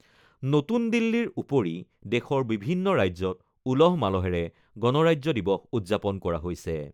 নতুন দিল্লীৰ উপৰি দেশৰ বিভিন্ন ৰাজ্যত উলহ-মালহেৰে গণৰাজ্য দিৱস উদযাপন কৰা হৈছে।